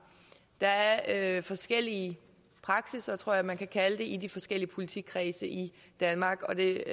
der er forskellig praksis tror jeg man kan kalde det i de forskellige politikredse i danmark og det